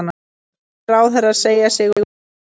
Ellefu ráðherrar segja sig úr ríkisstjórn